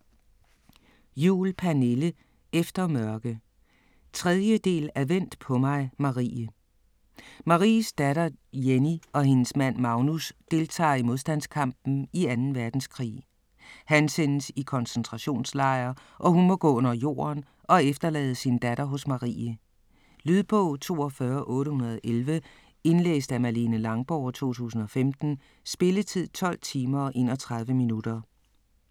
Juhl, Pernille: Efter mørke 3. del af Vent på mig Marie. Maries datter Jenny og hendes mand Magnus deltager i modstandskampen i 2. verdenskrig. Han sendes i koncentrationslejr, og hun må gå under jorden og efterlade sin datter hos Marie. Lydbog 42811 Indlæst af Malene Langborg, 2015. Spilletid: 12 timer, 31 minutter.